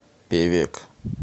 певек